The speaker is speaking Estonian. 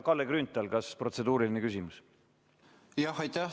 Kalle Grünthal, kas on protseduuriline küsimus?